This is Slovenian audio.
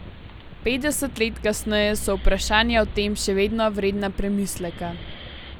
Petdeset let kasneje so vprašanja o tem še vedno vredna premisleka.